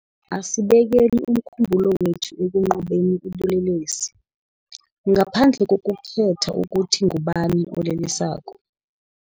Asibeke umkhumbulo wethu ekunqobeni ubulelesi, ngaphandle kokukhetha ukuthi ngubani olelesako.